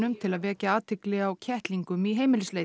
til að vekja athygli á kettlingum í